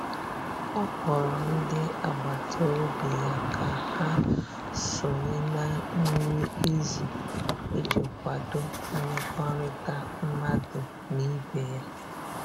ọ kpọrọ ndi agbata obi ya ka ha sonye na nri izu iji kwado mmekorita madu n'ibe ya